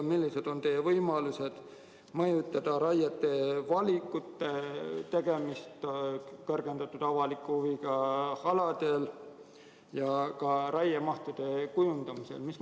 Ja millised on teie võimalused mõjutada raieliigi valikut kõrgendatud avaliku huviga aladel ja ka raiemahtude kujundamist?